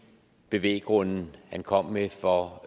bevæggrunde han kom med for